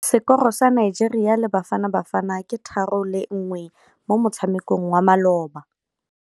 Sekôrô sa Nigeria le Bafanabafana ke 3-1 mo motshamekong wa malôba.